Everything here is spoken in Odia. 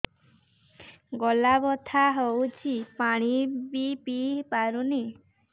ଗଳା ବଥା ହଉଚି ପାଣି ବି ପିଇ ପାରୁନି